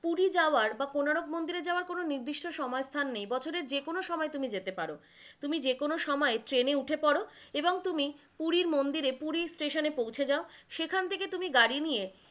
পুরী যাওয়ার বা কোনারক মন্দিরে যাওয়ার কোনো নির্দিষ্ট সময় স্থান নেই, বছরের যেকোনো সময় তুমি যেতে পারো, তুমি যেকোনো সময় ট্রেন এ উঠে পরো এবং তুমি পুরীর মন্দিরে পুরীর স্টেশনে এ পৌছে যাও, সেখান থেকে তুমি গাড়ি নিয়ে,